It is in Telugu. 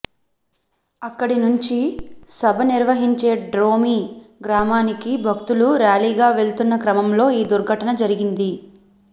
అక్కడి నుంచి సభ నిర్వహించే డోమ్రి గ్రామానికి భక్తులు ర్యాలీగా వెళ్తున్న క్రమంలో ఈ దుర్ఘటన జరిగింది